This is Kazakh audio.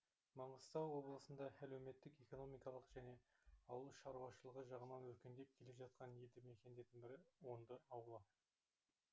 маңғыстау облысында әлеуметтік экономикалық және ауыл шаруашылығы жағынан өркендеп келе жатқан елді мекендердің бірі онды ауылы